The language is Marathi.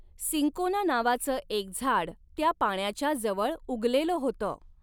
सिंकोना नावाच एक झाड त्या पाण्याच्या जवळ उगलेलं होतं.